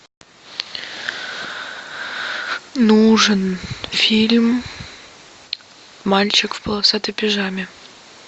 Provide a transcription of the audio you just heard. нужен фильм мальчик в полосатой пижаме